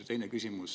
Ja teine küsimus.